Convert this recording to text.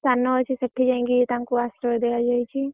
ସ୍ଥାନ ଅଛି ସେଠି ଯାଇଁ କି ତାଙ୍କୁ ଆଶ୍ରୟ ଦିଆ ଯାଇଛି।